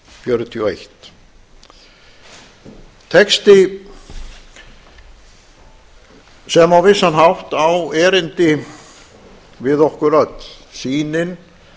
fjörutíu og eitt texti sem á vissan hátt á erindi við okkur öll sýnin